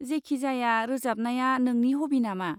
जेखिजाया, रोजाबनाया नोंनि हबि नामा?